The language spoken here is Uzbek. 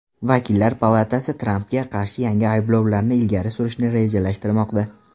Vakillar palatasi Trampga qarshi yangi ayblovlarni ilgari surishni rejalashtirmoqda.